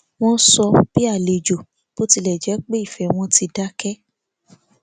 wọn sọ bí àlejò bó tilẹ jẹ pé ìfẹ wọn ti dákẹ